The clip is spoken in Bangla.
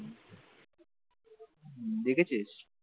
দেখেছিস?